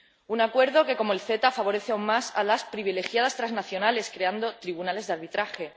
Un acuerdo que, como el CETA, favorece aún más a las privilegiadas transnacionales creando tribunales de arbitraje